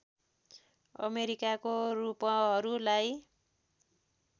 अमेरिकाको रूपहरू लाई